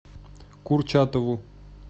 курчатову